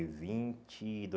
vinte e